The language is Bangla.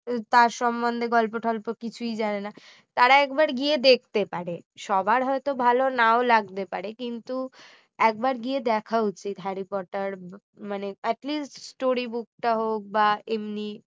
তার সম্বন্ধে গল্প টল্প কিছুই জানে না তারা একবার গিয়ে দেখতে পারে সবার হয়তো ভালো নাও লাগতে পারে কিন্তু একবার গিয়ে দেখা উচিত হ্যারি পটার মানে at least story book টা হোক বা এমনি